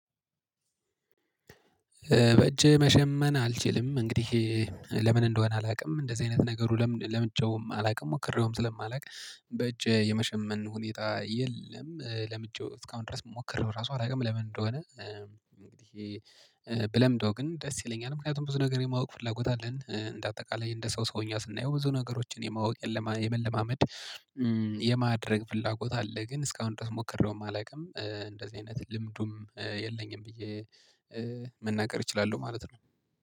በእጄ መሸመን አልችልም እንግዲህ ለምን እንደሆነ አላቅም እንደዚህ አይነት ነገሩ ለምን ለምጀውም አላቅም ሞክሬውም ስለማላውቅ። በእጅ የመሸመን ሁኔታ የለም። ለምንጀው እስካሁን ድረስ ሞክሬው ራሱ አላውቅም ለምን እንደሆነ። እንግዲህ ብለምደው ግን ደስ ይለኛል ምክንያቱም ብዙ ነገር የማውቅ ፍላጎት አለን እንደ አጠቃላይ እንደ ሰው ሰውኛ ስናየው ብዙ ነገሮችን የማወቅ የመለማመድ የማድረግ ፍላጎት አለ። ግን እስካሁን ድረስ ሞክሬውም አላውቅም እንደዚህ አይነት ልምዱም የለኝም። ብዬ መናገር እችላለሁ ማለት ነው